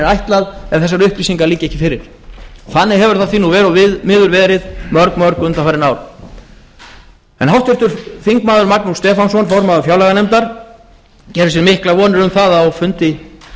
ætlað ef þessar upplýsingar liggja ekki fyrir þannig hefur það verr og miður verið mörg undan farin ár háttvirtir þingmenn magnús stefánsson formaður fjárlaganefndar gerir sér miklar vonir um það að á fundi